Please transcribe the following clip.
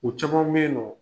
U caman beyi nƆ